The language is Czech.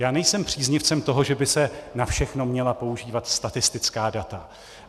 Já nejsem příznivcem toho, že by se na všechno měla používat statistická data.